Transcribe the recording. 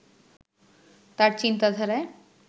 তাঁর চিন্তাধারায়